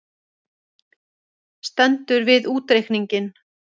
Stendur við útreikninginn